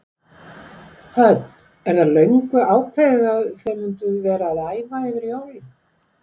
Hödd: Er það löngu ákveðið að þið mynduð vera að æfa yfir jólin?